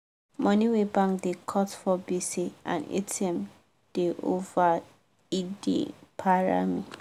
money wey bank da cut for gbese and atm da over e da para me